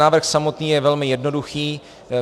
Návrh samotný je velmi jednoduchý.